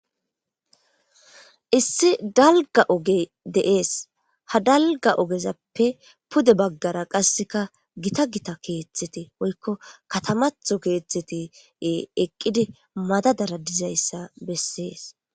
Issi daliga ogeyi de'esi. Ha daligga ogezappe pude baggara qassika gitta gitta kethi woyiko katamatho eqidi madadada deyisi betesi.